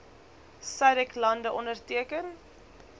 sadc lande onderteken